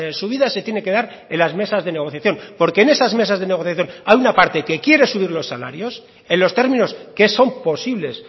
subida se tiene que dar en las mesas de negociación porque en esas mesas de negociación hay una parte que quiere subir los salarios en los términos que son posibles